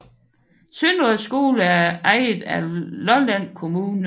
Søndre Skole er ejet af Lolland Kommune